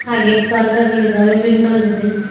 ಹಾಗೆ ಪರ್ದೆ ಗಳಿದಾವೆ ವಿಂಡೋಸ್ ಇದೆ.